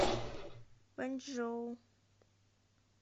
вэньчжоу